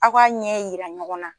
Aw k'a ɲɛyira ɲɔgɔn na.